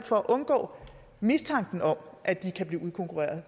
for at undgå mistanken om at de kan blive udkonkurreret